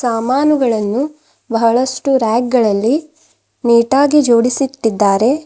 ಸಾಮಾನುಗಳನ್ನು ಬಹಳಷ್ಟು ರಾಕ್ಗಳಲ್ಲಿ ನೀಟಾಗಿ ಜೋಡಿಸಿಟ್ಟಿದ್ದಾರೆ.